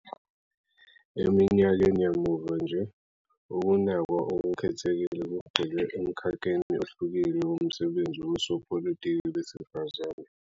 Eminyakeni yamuva nje, ukunakwa okukhethekile kugxile emkhakheni ohlukile womsebenzi wosopolitiki besifazane.